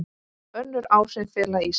Önnur áhrif fela í sér